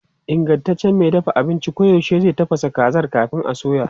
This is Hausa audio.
Ingantaccen mai dafa abinci koyaushe zai tafasa kazar kafin a soya.